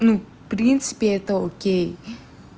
ну в принципе это окей